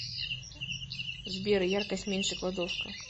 сбер яркость меньше кладовка